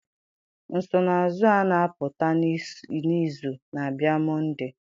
Nsonaazụ a na-apụta n'izu na-abịa Mọnde?